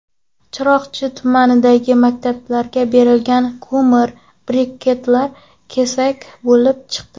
Chiroqchi tumanidagi maktablarga berilgan ko‘mir briketlar kesak bo‘lib chiqdi.